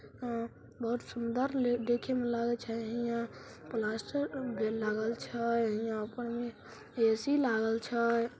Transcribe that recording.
अ बहुत सुंदर ले देखे में लागे छै हिया प्लास्टर भी लागल छै। यहाँ पर ऐ_सी लागल छै।